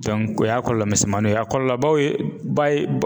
o y'a kɔɔlɔ misɛmaninw ye a kɔɔlɔbaw ye ba ye bɔ